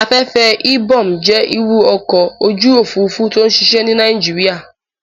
Afẹ́fẹ́ Ibom jẹ́ irú ọkọ̀ ojú òfurufú tó n ṣiṣẹ́ ní Nàìjíríyà